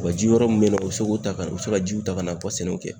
Wa ji yɔrɔ mun bɛ na u be se k'o ta ka u se ka jiw ta ka na u sɛnɛw kɛ